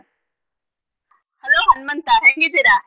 Hello Hanmanta ಹೆಂಗಿದಿರಾ?